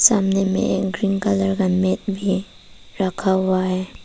सामने में एक ग्रीन कलर का मेट भी रखा हुआ है।